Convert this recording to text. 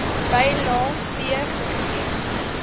bylae c gegee